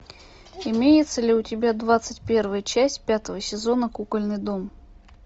имеется ли у тебя двадцать первая часть пятого сезона кукольный дом